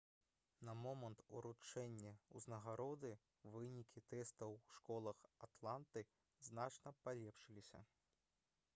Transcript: на момант уручэння ўзнагароды вынікі тэстаў у школах атланты значна палепшыліся